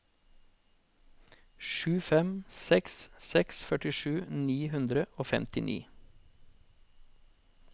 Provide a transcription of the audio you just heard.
sju fem seks seks førtisju ni hundre og femtini